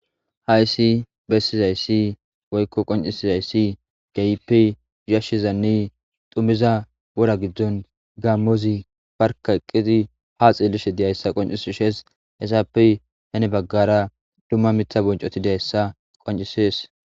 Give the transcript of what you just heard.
Hayssi bessizayssi woykko qonccissizasi kehippe yeshshizanne dhummiza woora giddon gammozi bearkka eqqidi ha xellishe diizayssa qonccises hessape heeni baggara dumma miththa bonccoti dizayssa qonccisses.